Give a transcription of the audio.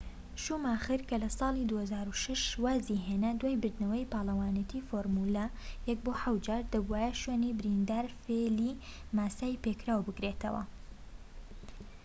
شوماخر کە لە ساڵی 2006 وازی هێنا دوای بردنەوەی پاڵەوانێتی فۆرمولە 1 بۆ حەوت جار، دەبووایە شوێنی بریندارفێلی ماسای پێکراو بگرێتەوە‎